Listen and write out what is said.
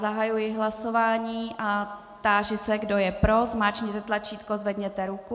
Zahajuji hlasování a táži se, kdo je pro, zmáčkněte tlačítko, zvedněte ruku.